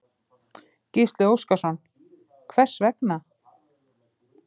Gísli Óskarsson: Hvers vegna?